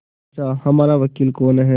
पूछाहमारा वकील कौन है